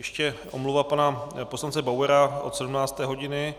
Ještě omluva pana poslance Bauera od 17. hodiny